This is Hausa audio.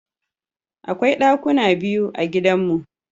Akwai ɗakuna biyu a gidanmu.